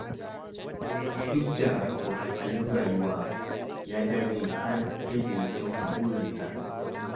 Duk da wahalhalun rayuwa, ya dage har sai da ya cimma burinsa.